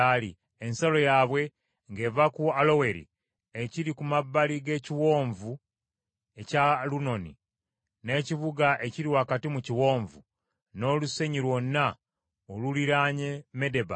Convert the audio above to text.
Ensalo yaabwe ng’eva ku Aloweri, ekiri ku mabbali g’ekiwonvu eky’Alunoni, n’ekibuga ekiri wakati mu kiwonvu, n’olusenyi lwonna oluliraanye Medeba,